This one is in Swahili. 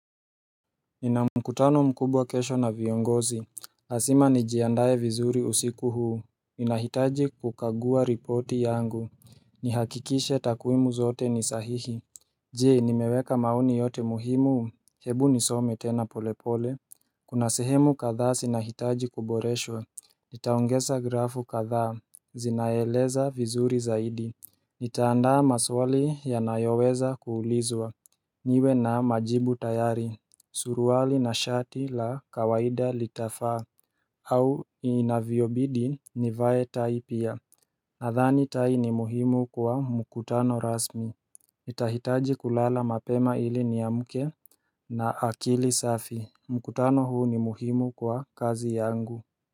Nina mkutano mkubwa kesho na viongozi lazima nijiandae vizuri usiku huu ninahitaji kukagua ripoti yangu Nihakikishe takwimu zote ni sahihi Je nimeweka maoni yote muhimu, hebu nisome tena polepole Kuna sehemu kadha zinahitaji kuboreshwa Nitaongeza grafu kadha, zinaeleza vizuri zaidi Nitaandaa maswali yanayoweza kuulizwa niwe na majibu tayari Suruali na shati la kawaida litafaa au inavyobidi nivae tai pia Nadhani tai ni muhimu kwa mkutano rasmi nitahitaji kulala mapema ili niamke na akili safi mkutano huu ni muhimu kwa kazi yangu.